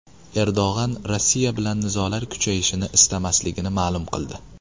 Erdo‘g‘on Rossiya bilan nizolar kuchayishini istamasligini ma’lum qildi .